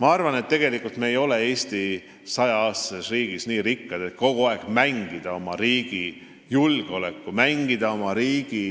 Ma arvan, et me ei ole 100-aastases Eesti riigis nii rikkad, et kogu aeg mängida oma riigi julgeolekuga, mängida oma riigi